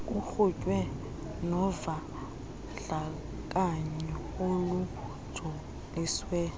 kuqhutywe novandlakanyo olujoliswe